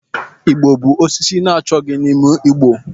Igbo bụ osisi achọghị n'ime ugbo.